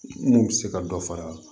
N'u bɛ se ka dɔ fara